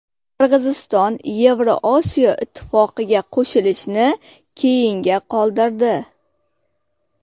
Qirg‘iziston Yevrosiyo ittifoqiga qo‘shilishni keyinga qoldirdi.